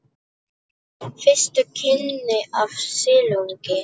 Fyrstu kynni af silungi